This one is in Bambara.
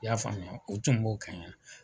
I y'a faamuya o tun b'o kɛ ye